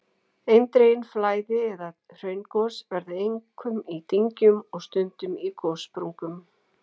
Eindregin flæði- eða hraungos verða einkum í dyngjum og stundum á gossprungum.